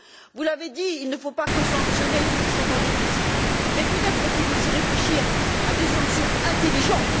Vous l'avez dit, il ne faut pas que sanctionner ceux qui sont en déficit, mais peut être faut il aussi réfléchir à des sanctions intelligentes.